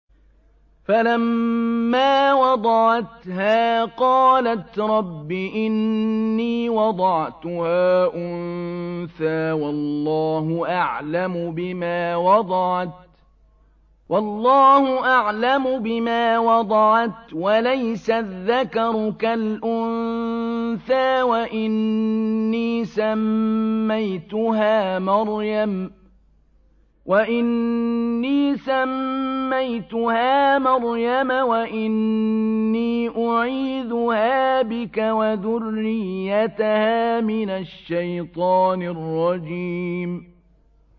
فَلَمَّا وَضَعَتْهَا قَالَتْ رَبِّ إِنِّي وَضَعْتُهَا أُنثَىٰ وَاللَّهُ أَعْلَمُ بِمَا وَضَعَتْ وَلَيْسَ الذَّكَرُ كَالْأُنثَىٰ ۖ وَإِنِّي سَمَّيْتُهَا مَرْيَمَ وَإِنِّي أُعِيذُهَا بِكَ وَذُرِّيَّتَهَا مِنَ الشَّيْطَانِ الرَّجِيمِ